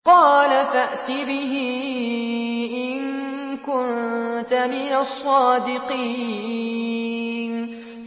قَالَ فَأْتِ بِهِ إِن كُنتَ مِنَ الصَّادِقِينَ